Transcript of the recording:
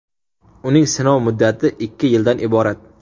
Uning sinov muddati ikki yildan iborat.